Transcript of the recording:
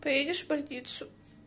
поедешь в больницу